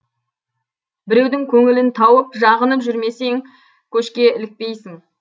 біреудің көңілін тауып жағынып жүрмесең көшке ілікпейсің